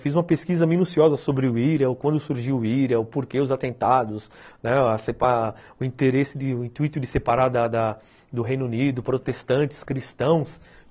Fiz uma pesquisa minuciosa sobre o Ira, quando surgiu o ira, o porquê dos atentados, o intuito de separar do Reino Unido, protestantes, cristãos.